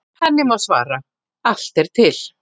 Henni má svara: Allt er til.